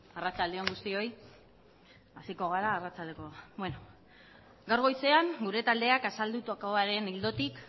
arratsalde on guztioi hasiko gara gaur goizean gure taldeak azaldutakoaren ildotik